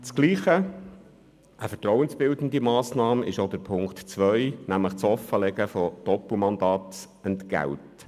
Eine vertrauensbildende Massnahme ist das in Punkt 2 geforderte Offenlegen von Doppelmandatsentgelten.